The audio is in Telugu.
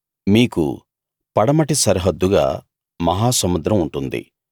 మీకు పడమటి సరిహద్దుగా మహాసముద్రం ఉంటుంది